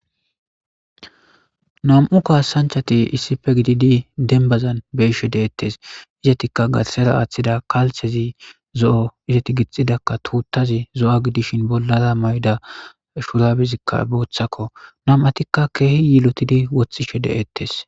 Nam7u kaasanchati issife gididi denbazan beshe deettes izatikka gatsera aaththida kalthezi zo7o izeti gixxidakka tuuttazi zo7a gidishin bollara may7da shurabezikka booththakko nam7atikka keehi yilotidi woththishe de7ettes.